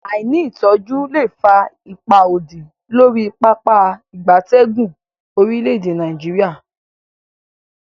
Aini itoju le fa ipa odi lori Pápá ìgbatẹ́gùn orile-ede Nigeria.